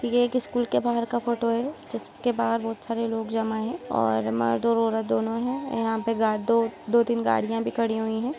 ये एक स्कूल के बाहर का फोटो है जिसके बाहर बहुत सारे लोग जमा हैं और मर्द और औरत दोनों हैं यहाँ पे गा दो दो-तीन गाड़ियां भी खड़ी हुई हैं।